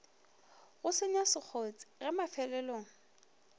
go senya sekgotse ge mafelong